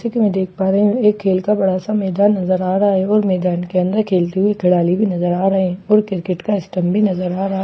ठीक है मैं देख पा रही हूं कि खेल का बड़ा सा मैदान नजर आ रहा है और मैदान के अंदर खेलते हुए खिलाड़ी भी नजर आ रहे हैं और क्रिकेट का स्टंप भी नजर आ रहा है --